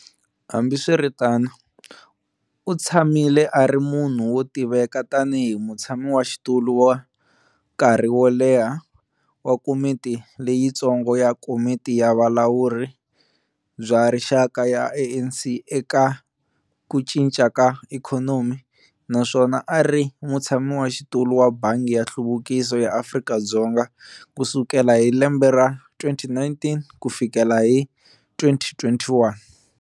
Hambiswiritano, u tshamile a ri munhu wo tiveka tanihi mutshamaxitulu wa nkarhi wo leha wa komiti leyitsongo ya Komiti ya Vulawuri bya Rixaka ya ANC eka ku cinca ka ikhonomi, naswona a ri mutshamaxitulu wa Bangi ya Nhluvukiso ya Afrika-Dzonga ku sukela hi 2019 ku fikela hi 2021.